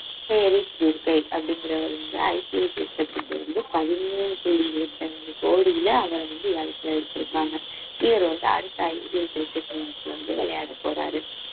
அப்படிங்கிறவர் வந்து IPL cricket க்கு வந்து பதிமூணு புள்ளி இருபத்தி அஞ்சு கோடியில அவரை வந்து ஏழத்துல எடுத்திருக்காங்க இவர் வந்து அடுத்த IPL cricket match ல வந்து விளையாடப் போறாரு